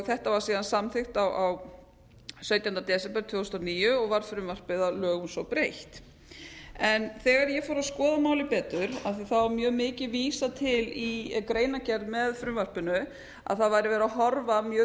þetta var síðan samþykkt sautjánda desember tvö þúsund og níu og var frumvarpið að lögum svo breytt þegar ég fór að skoða málið betur af því það var mjög mikið vísað til í greinargerð með frumvarpinu að það væri verið að horfa mjög